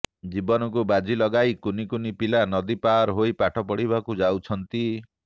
ଜୀବନକୁ ବାଜି ଲଗାଇ କୁନି କୁନି ପିଲା ନଦୀ ପାର ହୋଇ ପାଠ ପଢିବାକୁ ଯାଉଛନ୍ତି